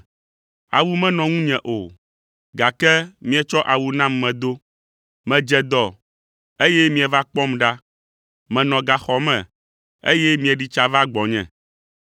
Awu menɔ ŋunye o, gake mietsɔ awu nam medo. Medze dɔ, eye mieva kpɔm ɖa. Menɔ gaxɔ me, eye mieɖi tsa va gbɔnye.’